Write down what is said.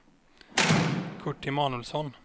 Kurt Emanuelsson